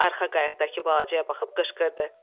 Arxa qayıqdakı balacaya baxıb qışqırdı.